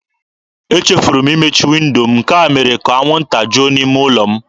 Echefuru m imechi windo m, nke a mere ka anwụnta juo n'ime ụlọ m.